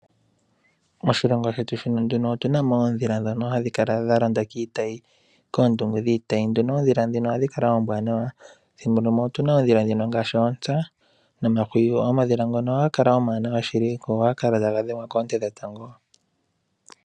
Moshilongo shetu nduno otunamo oondhila dhono hadhi kala dhalonda kiitayi kondungu dhiitayi. Oondhila dhino ohadhi kala ombwanawa, thimbo limwe otuna oondhila dhono ngashi oontsa nomahwiyu omadhila ngano ohaga kala omawanawa shili go otaga dhengwa konte dhetango.